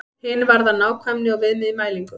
Hin varðar nákvæmni og viðmið í mælingum.